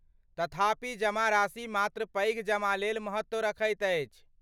तथापि जमाराशि मात्र पैघ जमा लेल महत्व रखैत अछि।